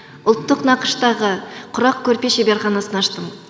ұлттық нақыштағы құрақ көрпе шеберханасын аштым